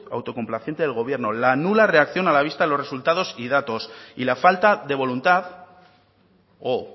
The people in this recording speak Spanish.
autocomplaciente del gobierno la nula reacción a la vista de los resultados y datos y la falta de voluntad o